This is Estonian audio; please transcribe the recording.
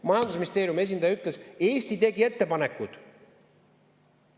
Majandusministeeriumi esindaja ütles: Eesti tegi ettepanekud.